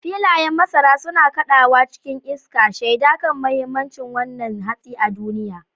Filayen masara suna kaɗawa cikin iska, shaida kan muhimmancin wannan hatsi a duniya.